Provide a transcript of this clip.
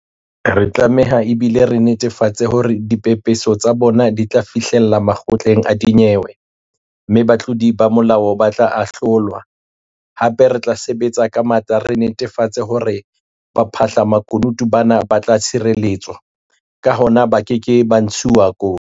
Re a tlameha, ebile re netefatsa hore dipepeso tsa bona di tla fihlella makgotleng a dinyewe, mme batlodi ba molao ba tla ahlolwa, hape re tla sebetsa ka matla re netafatsa hore baphahla-makunutu bana ba tla tshireletswa, ka hona ba keke ba ntshuwa kotsi.